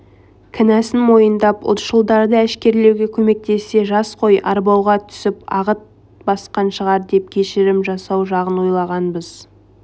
кінәсін мойындап ұлтшылдарды әшкерелеуге көмектессе жас қой арбауға түсіп ағат басқан шығар деп кешірім жасау жағын да ойлағанбыз